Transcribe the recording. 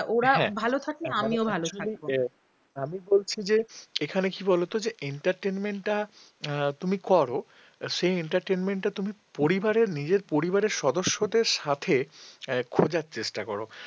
আমি বলছি যে এখানে কি বলতো যে entertainment তুমি করো সেই entertainment টা তুমি পরিবারের নিজের পরিবারের সদস্যদের সাথে খোঁজার চেষ্টা করো।